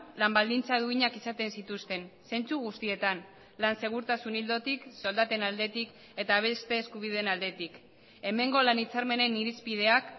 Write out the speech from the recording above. lan baldintza duinak izaten zituzten zentzu guztietan lan segurtasun ildotik soldaten aldetik eta beste eskubideen aldetik hemengo lan hitzarmenen irizpideak